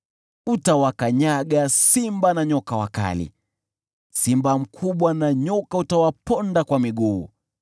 Utawakanyaga simba na nyoka wakali, simba mkubwa na nyoka utawaponda kwa miguu.